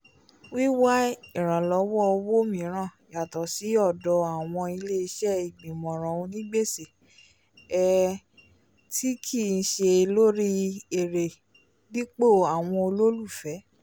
wíwá iranlọwọ owó míràn yatọ sí ọdọ awọn ilé-iṣẹ́ igbimọran ònì gbèsè um ti kii ṣe lórí èrè dipo awọn ololufẹ